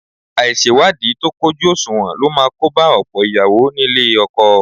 Àìṣèwádìí tó kójú òṣùwọ̀n ló máa kóba ọ̀pọ̀ ìyàwó nílé ọkọ